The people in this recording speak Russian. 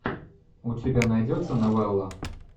у тебя найдется новелла